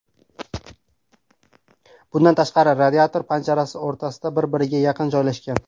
Bundan tashqari, radiator panjarasi o‘rtada, bir-biriga yaqin joylashgan.